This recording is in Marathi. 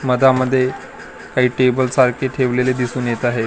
मधामध्ये काही टेबल सारखे ठेवलेले दिसून येत आहेत .